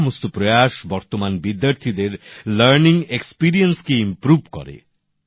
এই সমস্ত উদ্যোগ বর্তমান বিদ্যার্থীদের শেখার অভিজ্ঞতাকে উন্নত করে